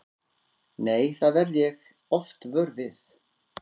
Nei, það verð ég oft vör við.